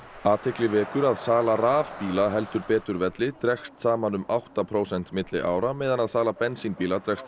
athygli vekur að sala rafbíla heldur betur velli dregst saman um átta prósent milli ára meðan að sala bensínbíla dregst